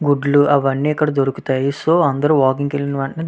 గుడ్లు అవన్నీ ఇక్కడ దొరుకుతాయి సో అందరూ వాకింగ్ వెళ్లిన